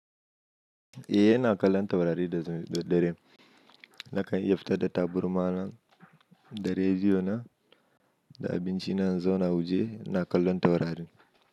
Eh ina kallon taurari da daddare, nakan iya fitar da tabarma na. Da rediyo na da abinci na in zauna waje na kallon taurarin.